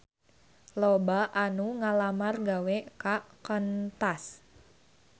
Loba anu ngalamar gawe ka Qantas